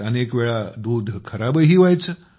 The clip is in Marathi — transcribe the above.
त्यात अनेक वेळा दूध खराबही व्हायचे